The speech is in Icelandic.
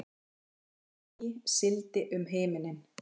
Rauðleitt ský sigldi um himininn.